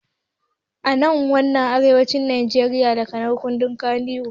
Ana wa finafinan arewacin najeriya lakanin Kannywood